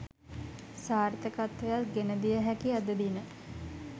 සාර්ථකත්වයක් ගෙනදිය හැකි අද දින